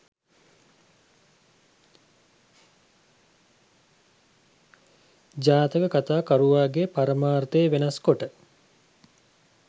ජාතක කතා කරුවාගේ පරමාර්ථය වෙනස්කොට